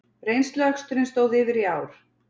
Reynsluaksturinn stóð yfir í ár